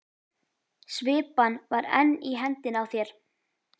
Svipan var enn í hendinni á þér.